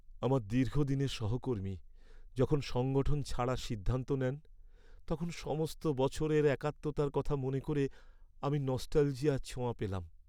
আমার দীর্ঘদিনের সহকর্মী যখন সংগঠন ছাড়ার সিদ্ধান্ত নেন, তখন সমস্ত বছরের একাত্মতার কথা মনে করে আমি নস্টালজিয়ার ছোঁয়া পেলাম।